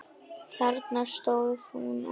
Þarna stóð hún og.